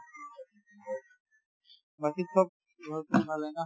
বাকি চব ঘৰততো ভালে না?